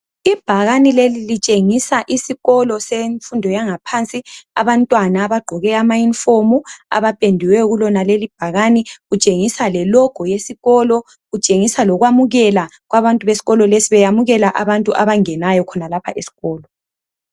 Ibhakane leli litshengisa isikolo semfundo yaphansi abantwana bagqoke ama uniform abapendiweyo kulonalelo bhakane kutshengisa lelogo yesikolo kutshengisa lokwamukela kwabantu besikolo lesi besamukela abantu abangenayo khonalapha esikolo.